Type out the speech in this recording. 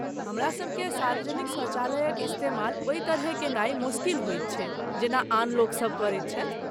हमरासभकेँ सार्वजनिक शौचालयक इस्तेमाल ओहि तरहेँ केनाय मोसकिल होयत छै जेना आन लोकसब करैत छथि।